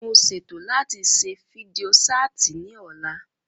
Mo ṣètò láti ṣe fídíò ṣáàtì ní ọ̀la